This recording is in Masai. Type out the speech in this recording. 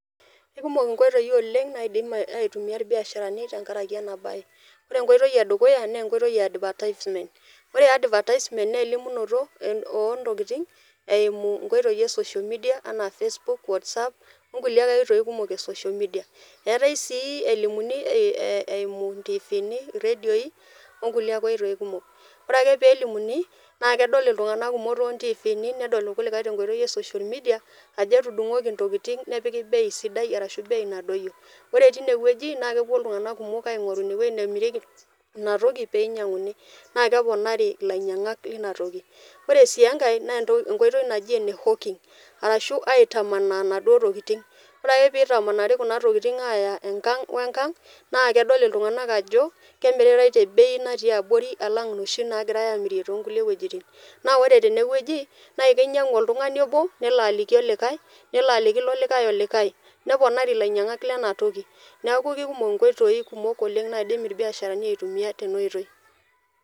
Kekumok nkoitoi oleng' naidim aitumia irbiasharani tenkaraki ena baye, Ore enkoitoi e dukuya naa enkoitoi e advertisement. Ore advertisement naa elimunoto oo ntokitin eimu nkoitoi e social media enaa facebook, whatsapp, o nkulie koitoi ake kumok e social media. Eeetai sii elimuni ee ee eimu intiivini, iredioi o nkulie koitoi kumok, ore ake peelimuni naake edol iltung'anak kumok too ntiviini, nedol irkulikai te nkoitoi e social media ajo etudung'oki ntokitin nepiki bei sidai arashu bei nadoyio. Ore tine wueji naake epuo iltung'anak kumok aing'oru ine wuei nemirieki ina toki pee inyang'uni naake eponari ilainyang'ak lina toki. Ore sii enkae naa enkoitoi naji ene hawking arashu aitamanaa naduo tokitin, ore ake piitamanari kuna tokitin aaya enkang' we nkang' naake edol iltung'anak ajo kemiritai te bai natiii abori alang' inoshi naagirai aamirie too nkulie wojitin. Naa ore tene wueji nae kinyang'u oltung'ani obo nelo aliki olikai nilo aliki ilo likai olikai neponari ilainyang'ak lena toki. Neeku kekumok nkoitoi kumok oleng' naidim irbiasharani aitumia tena oitoi.